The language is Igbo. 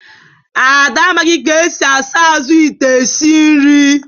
Ada amaghị ka esi asa azụ ite isi nri